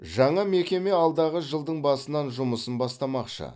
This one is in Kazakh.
жаңа мекеме алдағы жылдың басынан жұмысын бастамақшы